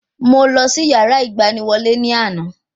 Mo lọ sí yàrá ìgbaniwọlé ní àná